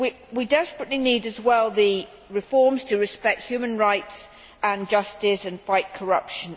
We desperately need also the reforms to respect human rights and justice and fight corruption.